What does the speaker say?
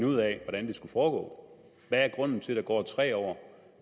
ud af hvordan det skal foregå hvad er grunden til at der går tre år